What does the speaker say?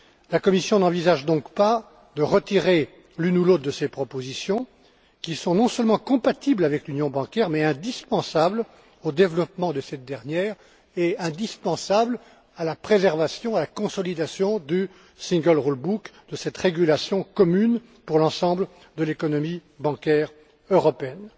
La Commission n'envisage donc pas de retirer l'une ou l'autre de ces propositions, qui sont non seulement compatibles avec l'union bancaire, mais aussi indispensables au développement de cette dernière et indispensables à la préservation, à la consolidation du règlement unique de cette régulation commune pour l'ensemble de l'économie bancaire européenne.